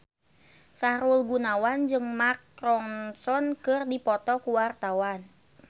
Sahrul Gunawan jeung Mark Ronson keur dipoto ku wartawan